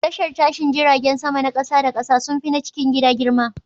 Tashar tashin jiragen sama na kasa da kasa sun fi na cikin gida girma.